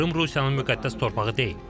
Krım Rusiyanın müqəddəs torpağı deyil.